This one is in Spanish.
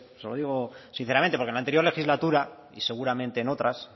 se lo digo sinceramente porque en la anterior legislatura y seguramente en otras